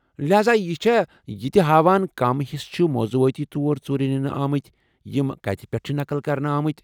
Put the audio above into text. لہاذا یہِ چھا یِتہِ ہاوان كم حِصہٕ چھِ موضوعٲتی طور ژوٗرِ نِنہٕ آمٕتۍ یِم كٕتہِ پیٹھہٕ چھِ نقل كرنہٕ آمٕتۍ ؟